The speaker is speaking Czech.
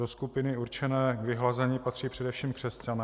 Do skupiny určené k vyhlazení patří především křesťané.